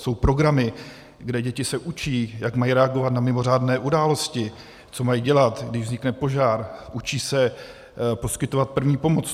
Jsou programy, kde se děti učí, jak mají reagovat na mimořádné události, co mají dělat, když vznikne požár, učí se poskytovat první pomoc.